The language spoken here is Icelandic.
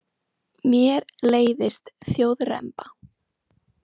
Mér leiðist þjóðremba.